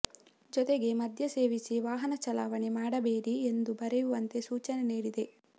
ಜೊತೆಗೆ ಮದ್ಯ ಸೇವಿಸಿ ವಾಹನ ಚಲಾವಣೆ ಮಾಡಬೇಡಿ ಎಂದು ಬರೆಯುವಂತೆ ಸೂಚನೆ ನೀಡಿದೆ